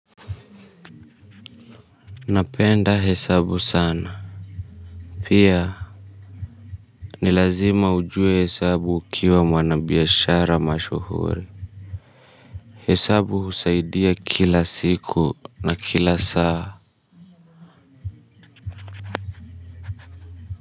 Napenda hesabu sana pia. Ni lazima ujue hesabu ukiwa mwanabiashara mashuhuri. Hesabu husaidia kila siku na kila saa.